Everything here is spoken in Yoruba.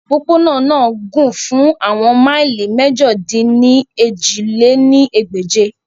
Opopona naa na gun fun awọn maili Mẹ̀jọ-dín-ní-ojì lé ní ẹgbẹ́je.